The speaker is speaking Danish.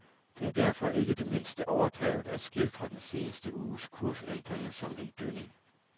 Det er derfor ikke det mindste overdrevent at skildre den seneste uges kursændinger som en dønning.